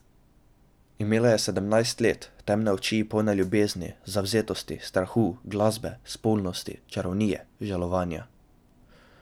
Imela je sedemnajst let, temne oči polne ljubezni, zavzetosti, strahu, glasbe, spolnosti, čarovnije, žalovanja.